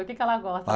O que que ela gosta?